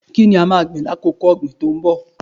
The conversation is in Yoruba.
Kí ni a máa gbìn ní àkókò ọ̀gìn tí ó ń bọ̀?